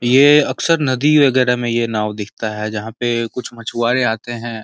ये अक्सर नदी वगैरह में ये नाव दिखता है जहां पे कुछ मछुआरे आते हैं।